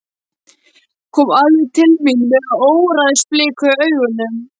Kom alveg til mín með óveðursbliku í augunum.